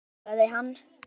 svaraði hann.